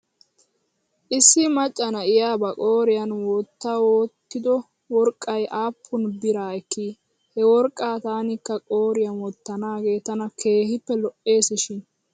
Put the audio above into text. Issi macca na'iyaa ba qooriyan wottawttido worqqay aappun bira ekki? He worqaa tankka qooriyaa wottanaagee tana keehippe lo'es shin .